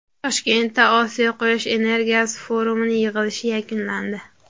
Toshkentda Osiyo quyosh energiyasi forumi yig‘ilishi yakunlandi.